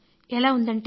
ఎలా ఉందంటే